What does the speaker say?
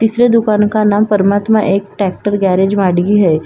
तीसरे दुकान का नाम परमात्मा एक ट्रेक्टर गेरेज माडगी हैं।